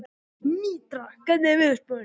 Mítra, hvernig er veðurspáin?